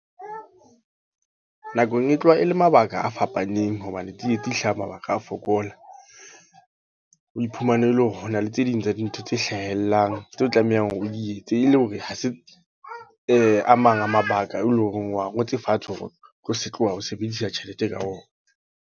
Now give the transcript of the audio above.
Nakong e tloha e le mabaka a fapaneng. Hobane tsietsi e hlaha mabaka a fokola. Ho iphumana ele hore hona le tse ding tsa dintho tse hlahellang. Tseo tlamehang hore o di etse. E le hore ha se a mang a mabaka, e leng hore wa ngotse fatshe ho tlo se tloha ho sebedisa tjhelete ka ona.